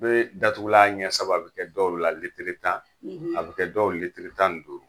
Bee datugula ɲɛ saba be kɛ dɔw la litiri tan, a be kɛ dɔw litiri tan ni duuru.